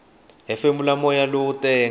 hefemula moya lowo tenga